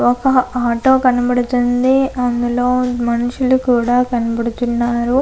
ఒక ఆటో కనబడుతుంది అందులో మనుషులు కూడ కనబడుతున్నారు.